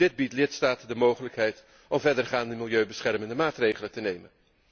Dit biedt de lidstaten de mogelijkheid om verdergaande milieubeschermende maatregelen te nemen.